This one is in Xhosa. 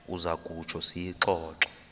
uza kutsho siyixoxe